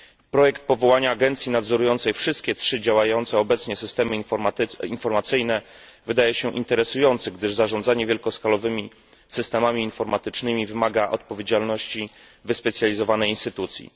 Projekt powołania agencji nadzorującej wszystkie trzy działające obecnie systemy informacyjne wydaje się interesujący, gdyż zarządzanie wielkoskalowymi systemami informatycznymi wymaga odpowiedzialności wyspecjalizowanej instytucji.